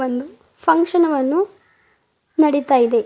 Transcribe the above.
ಒಂದು ಪಂಕ್ಷನ್ ವನ್ನು ನಡಿತಾ ಇದೆ.